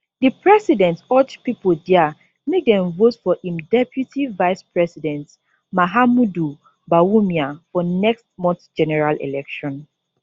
di president urge pipo dia make dem vote for im deputy vicepresident mahamudu bawumia for next month general election